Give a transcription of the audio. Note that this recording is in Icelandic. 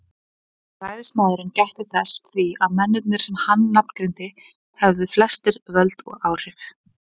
Ræðismaðurinn gætti þess því að mennirnir sem hann nafngreindi hefðu flestir völd og áhrif.